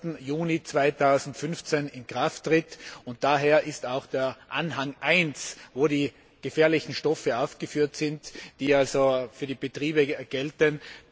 1. Juni 2015 in Kraft tritt, und damit auch deren Anhang I, in dem die gefährlichen Stoffe aufgeführt sind, die für die Betriebe gelten.